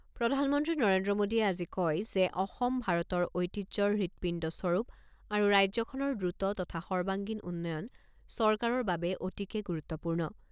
প্ৰধানমন্ত্ৰী নৰেন্দ্ৰ মোদীয়ে আজি কয় যে অসম ভাৰতৰ ঐতিহ্যৰ হৃদপিণ্ডস্বৰূপ আৰু ৰাজ্যখনৰ দ্ৰুত তথা সৰ্বাংগীণ উন্নয়ন চৰকাৰৰ বাবে অতিকে গুৰুত্বপূৰ্ণ।